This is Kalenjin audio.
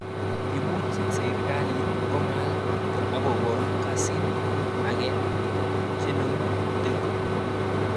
Imuch serikalit kongal akokokasin ake chenomu Telecom